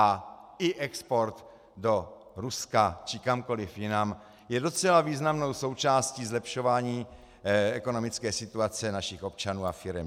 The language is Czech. A i export do Ruska či kamkoliv jinam je docela významnou součástí zlepšování ekonomické situace našich občanů a firem.